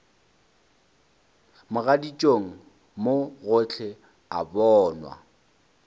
mogaditšong mo gohle o bonwa